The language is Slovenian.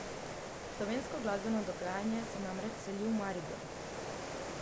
Slovensko glasbeno dogajanje se namreč seli v Maribor.